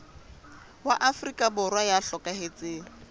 wa afrika borwa ya hlokahetseng